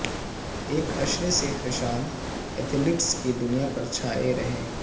ایک عشرے سے حشام ایتھلیٹکس کی دنیا پر چھائے رہے